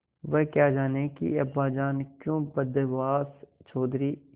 वह क्या जानें कि अब्बाजान क्यों बदहवास चौधरी